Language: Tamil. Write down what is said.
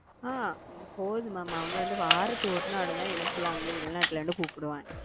அ பொது ம வாரத்துக்கு ஒரு நாள்தா ஏ புள்ள என்ன வெளிநாட்டுல இருந்து கூப்டுவா